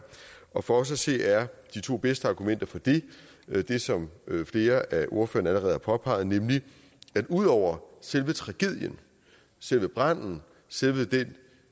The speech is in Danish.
og for os at se er de to bedste argumenter for dette det som flere af ordførerne allerede har påpeget nemlig at ud over selve tragedien selve branden selve den